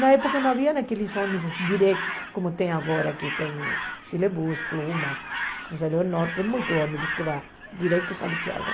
Na época não havia aqueles ônibus direto, como tem agora, que tem chilebus, pluma, cruzeiro norte, tem muitos ônibus que vão direto para Santiago.